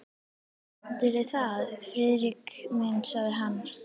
Heldurðu það, Friðrik minn? sagði hann.